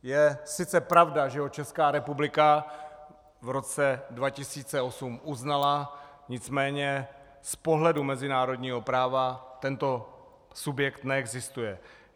Je sice pravda, že ho Česká republika v roce 2008 uznala, nicméně z pohledu mezinárodního práva tento subjekt neexistuje.